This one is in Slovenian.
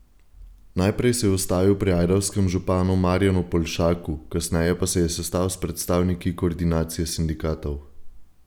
Najprej se je ustavil pri ajdovskem županu Marjanu Poljšaku, kasneje pa se je sestal s predstavniki koordinacije sindikatov.